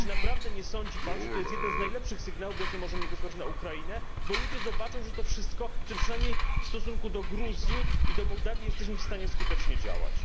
Czy naprawdę nie sądzi Pan, że to jest jeden z najlepszych sygnałów, jakie możemy wysłać na Ukrainę, bo ludzie zobaczą, że przynajmniej w stosunku do Gruzji i Mołdawii jesteśmy w stanie skutecznie działać?